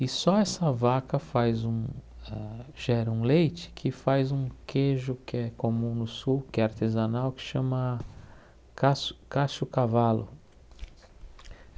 E só essa vaca faz um a... gera um leite que faz um queijo que é comum no sul, que é artesanal, que chama casso cacho-cavalo.